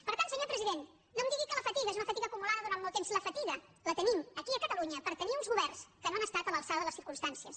per tant senyor president no em digui que la fatiga és una fatiga acumulada durant molt temps la fatiga la tenim aquí a catalunya per tenir uns governs que no han estat a l’altura de les circumstàncies